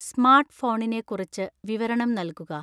സ്മാര്‍ട്ട്ഫോണിനെ കുറിച്ച് വിവരണം നല്കുക